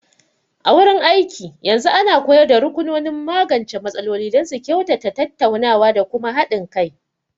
A wurin aiki, yanzu ana koyar da rukunonin magance matsaloli don su kyautata tattaunawa da kuma haɗin kai.